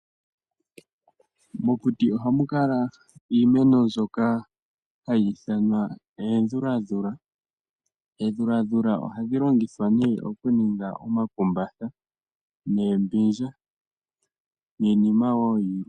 Mokuti ohamu kala iimeno mbyoka hayi ithanwa eedhuladhula. Eedhuladhula ohadhi longithwa nee okuninga omakumbatha noombindja niinima wo yilwe.